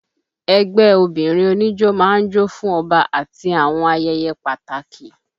Ẹgbẹ́ obìnrin oníjó máa ń jó fún Ọba àti àwọn ayẹyẹ pàtàkì